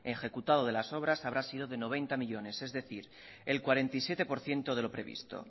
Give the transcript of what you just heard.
ejecutado de las obras habrá sido de noventa millónes es decir el cuarenta y siete por ciento de lo previsto